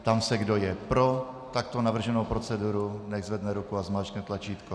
Ptám se, kdo je pro takto navrženou proceduru, nechť zvedne ruku a zmáčkne tlačítko.